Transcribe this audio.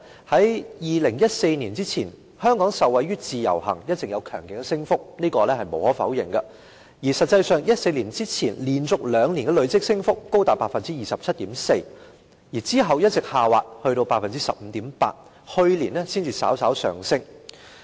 在2014年之前，香港受惠於自由行，數字上一直有強勁的升幅，這是無可否認的，而實際上，在2014年之前，連續兩年的累積升幅高達 27.4%， 之後一直下滑至 15.8%， 去年才稍微上升。